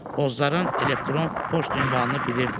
Bozların elektron poçt ünvanını bilirdi.